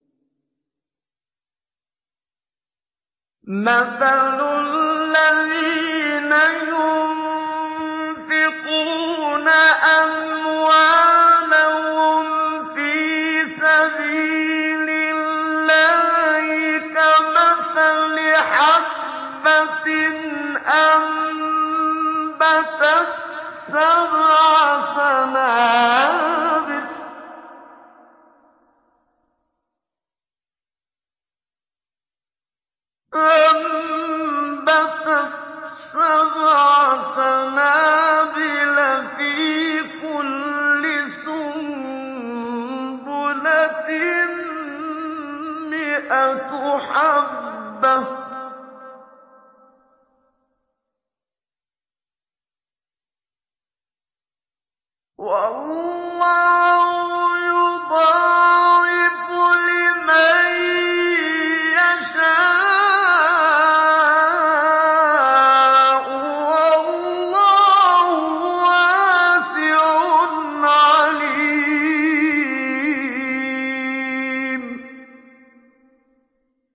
مَّثَلُ الَّذِينَ يُنفِقُونَ أَمْوَالَهُمْ فِي سَبِيلِ اللَّهِ كَمَثَلِ حَبَّةٍ أَنبَتَتْ سَبْعَ سَنَابِلَ فِي كُلِّ سُنبُلَةٍ مِّائَةُ حَبَّةٍ ۗ وَاللَّهُ يُضَاعِفُ لِمَن يَشَاءُ ۗ وَاللَّهُ وَاسِعٌ عَلِيمٌ